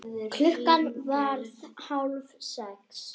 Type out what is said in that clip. Klukkan varð hálf sex.